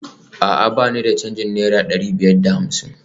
A'a ba ni da canjin naira dari biyar da hamsin?